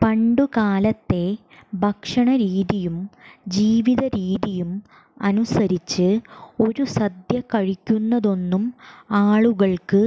പണ്ടുകാലത്തെ ഭക്ഷണരീതിയും ജീവിതരീതിയും അനുസരിച്ച് ഒരു സദ്യ കഴിക്കുന്നതൊന്നും ആളുകള്ക്ക്